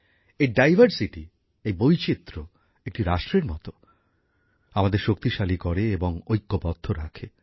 এই ডাইভারসিটি এই বৈচিত্র্য একটি রাষ্ট্রের মতো আমাদের শক্তিশালী করে এবং ঐক্যবদ্ধ রাখে